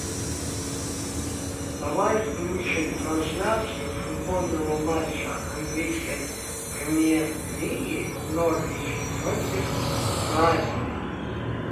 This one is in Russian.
давай включим трансляцию футбольного матча английской премьер лиги норвич против брайтона